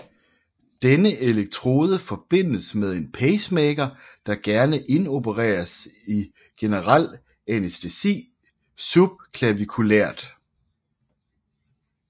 Denne elektrode forbindes med en pacemaker der gerne indopereres i generel anæstesi subclaviculært